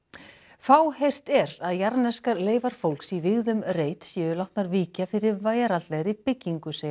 fáheyrt er að jarðneskar leifar fólks í vígðum reit séu látnar víkja fyrir veraldlegri byggingu segja